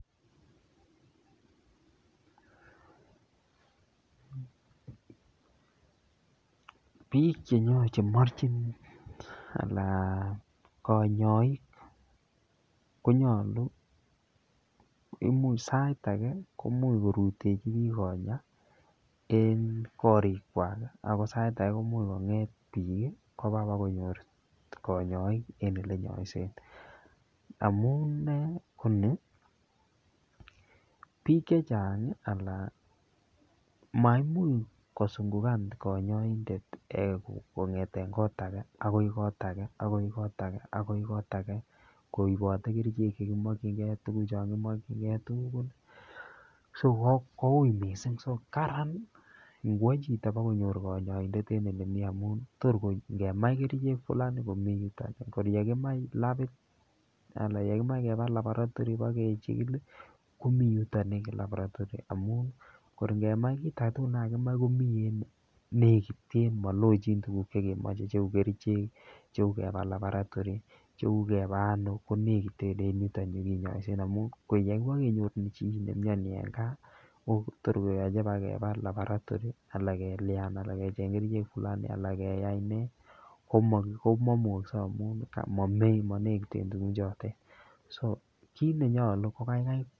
Piich chenyorchin machin anan konyoik konyalu, imuch sait age komuch korutechi piik konyaa eng' korik kwach ako sait age komuch kong'et piik kopa konyor konyoik en ole nyoisey amun koni: piik chechang' maimuch kosungukan kanyoindet kong'ete kot age, akoy kot age, akoy kot age, akoy kot age koipate kerchek chekichingei tuguk tugul ko uy mising karan ngwoy chito konyor kanyoindet en ole mi amun tor koi ngemai kerchek ko lazima komii yutok koriekimae labit ana yekimae kepaa laboratory pa kechigil komii yotok en laboratory amun kor kemai kiy tatun komii en yu legiten malochin tuguk chekemache kou kerchek, kou chekepaa laboratory cheu kepaa ano komii legiten en yu ole kinyoise amun yekipa kenyor chi ne imnyani eng gaa ko tor keyache kepaa laboratory alak kelyan alak ke cheng' kerchek fulani, alak keyai ne koma imukakse amun mei manekten tuguk chotok kit nenyolu ko kaikai.